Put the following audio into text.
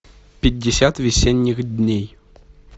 пятьдесят весенних дней